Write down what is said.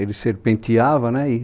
Ele serpenteava, né? E